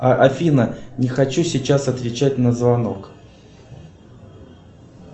афина не хочу сейчас отвечать на звонок